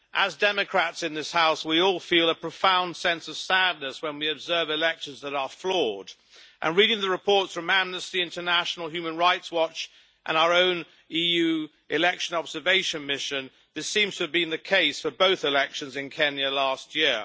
As democrats in this House, we all feel a profound sense of sadness when we observe elections that are flawed, and reading the reports from Amnesty International, Human Rights Watch and our own EU Election Observation Mission, this seems to have been the case for both elections in Kenya last year.